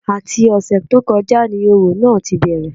Àti ọ̀sẹ̀ tó kọjá ni òrò náà tí bẹ̀rẹ̀